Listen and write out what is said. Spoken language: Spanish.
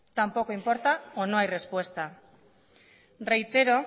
tampoco importa o no hay respuesta reitero